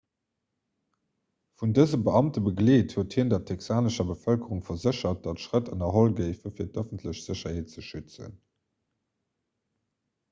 vun dëse beamte begleet huet hien der texanescher bevëlkerung verséchert datt schrëtt ënnerholl géifen fir d'ëffentlech sécherheet ze schützen